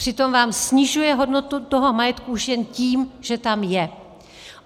Přitom vám snižuje hodnotu toho majetku už jen tím, že tam je.